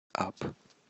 ап